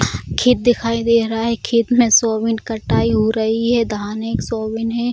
खेत दिखाई दे रहा है खेत में सोयबीन कटाई हो रही है धान है कि सोयबीन है।